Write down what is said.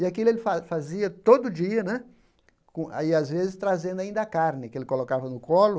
E aquilo ele fa fazia todo dia né, com aí às vezes trazendo ainda a carne que ele colocava no colo.